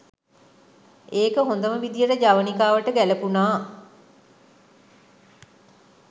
ඒක හොඳම විදිහට ජවනිකාවට ගැළපුණා.